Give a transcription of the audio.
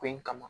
Ko in kama